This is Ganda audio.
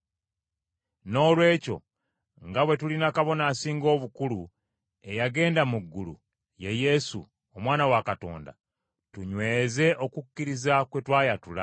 Noolwekyo nga bwe tulina Kabona Asinga Obukulu, eyagenda mu ggulu, ye Yesu, Omwana wa Katonda, tunyweze okukkiriza kwe twayatula.